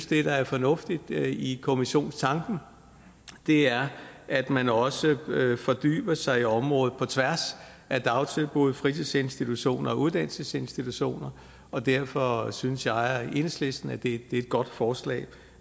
det der er fornuftigt i kommissionstanken er at man også fordyber sig i området på tværs af dagtilbud fritidsinstitutioner og uddannelsesinstitutioner og derfor synes jeg og enhedslisten at det er et godt forslag